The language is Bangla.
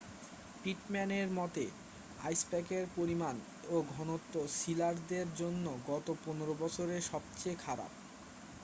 পিটম্যানের মতে আইসপ্যাকের পরিমাণ ও ঘনত্ব সিলারদের জন্য গত15 বছরে সবচেয়ে খারাপ